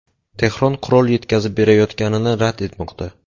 Tehron qurol yetkazib berayotganini rad etmoqda.